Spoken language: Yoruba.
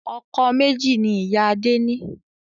Ọkọ̀ méjì ni ìyá Adé ni